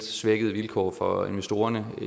svækkede vilkår for investorerne i